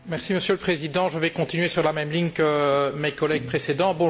Monsieur le Président, je vais continuer sur la même ligne que mes collègues précédents.